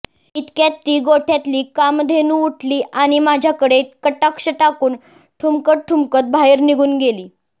इतक्यात ती गोठ्यातली कामधेनू उठली आणि माझ्याकडे कटाक्ष टाकून ठुमकत ठूमकत बाहेर निघुन गेली